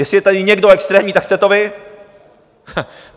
Jestli je tady někdo extrémní, tak jste to vy.